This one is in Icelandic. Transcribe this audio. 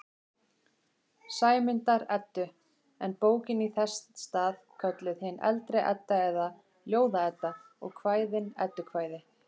Sæmundar-Eddu, en bókin í þess stað kölluð hin eldri Edda eða Ljóða-Edda og kvæðin eddukvæði.